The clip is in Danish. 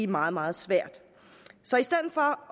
meget meget svært